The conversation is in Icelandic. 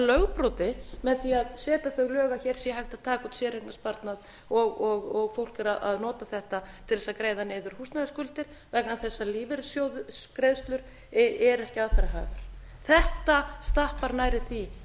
lögbroti með því að setja þau lög að hér sé hægt að að taka upp séreignarsparnað og fólk er að nota þetta til þess að greiða niður húsnæðisskuldir vegna þess að lífeyrissjóðsgreiðslur eru ekki aðfararhæfar þetta stappar nærri því